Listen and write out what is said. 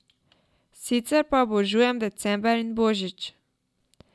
Sicer pa obožujem december in božič.